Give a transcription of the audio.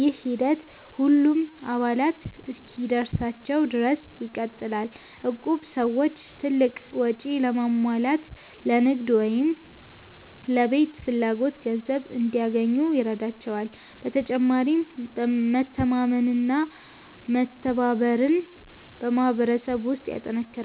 ይህ ሂደት ሁሉም አባላት እስኪደርሳቸው ድረስ ይቀጥላል። እቁብ ሰዎች ትልቅ ወጪ ለማሟላት፣ ለንግድ ወይም ለቤት ፍላጎት ገንዘብ እንዲያገኙ ይረዳቸዋል። በተጨማሪም መተማመንና መተባበርን በማህበረሰብ ውስጥ ያጠናክራል።